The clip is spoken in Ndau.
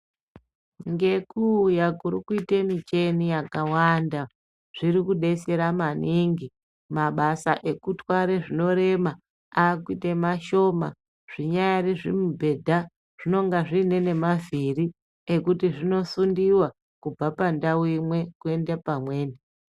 Ngekuuya kuri kuite mucheni yakawanda zviri kudetsera maningi mabasa ekutware zvinorema akuite mashoma zvinyari zVimubhedha zvinenge zviine ngemavhiri ekuti zvinosundiwa kubva pandau imwe kuende pamweni.